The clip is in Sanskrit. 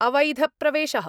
अवैध प्रवेश: